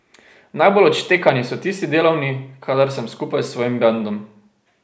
Najbolj odštekani so tisti delovni, kadar sem skupaj s svojim bendom.